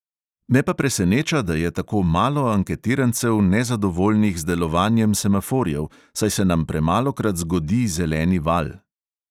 Me pa preseneča, da je tako malo anketirancev nezadovoljnih z delovanjem semaforjev, saj se nam premalokrat "zgodi" zeleni val.